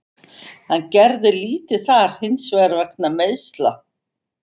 Hann gerði lítið þar hinsvegar vegna meiðsla.